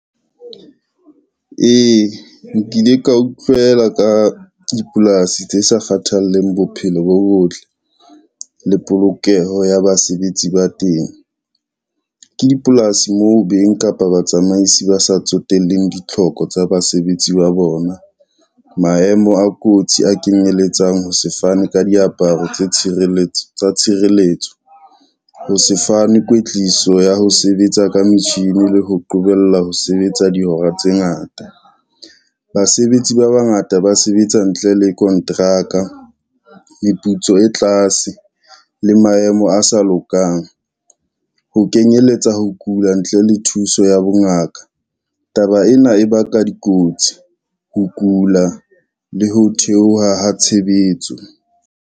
Ee, nkile ka utlwela ka dipolasi tse sa kgathalleng bophelo bo botle le polokeho ya basebetsi ba Tent. Ke dipolasi mo beng kapa batsamaisi ba sa tsotellehe ditlhoko tsa basebetsi ba bona, maemo a kotsi a kenyeletsang ho sefane ka diaparo tsa tshireletso, ho se fane kwetliso ya ho sebetsa ka metjhini le ho qobellwa ho sebetsa dihora tse ngata. Basebetsi ba bangata ba sebetsa ntle le konteraka, meputso e tlase le maemo a sa lokang, ho kenyelletsa ho kula ntle le thuso ya bongaka, taba ena e baka dikotsi, ho kula le ho theoha ha tshebetso.